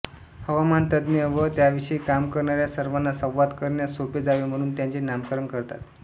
हवामानतज्ज्ञ व त्याविषयी काम करणाऱ्या सर्वांना संवाद करण्यास सोपे जावे म्हणून त्याचे नामकरण करतात